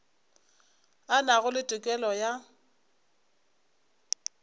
a nago le tokelo ya